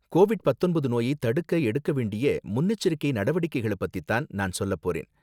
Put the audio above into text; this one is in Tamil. கோவிட் பத்தொன்பது நோயை தடுக்க எடுக்க வேண்டிய முன்னெச்சரிக்கை நடவடிக்கைகளை பத்தி தான் நான் சொல்லப் போறேன்